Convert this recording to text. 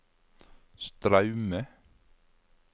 Straume